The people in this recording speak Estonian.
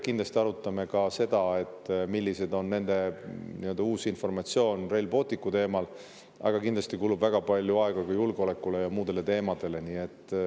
Me arutame seda, milline on nende uus informatsioon Rail Balticu teemal, aga kindlasti kulub väga palju aega ka julgeolekule ja muudele teemadele.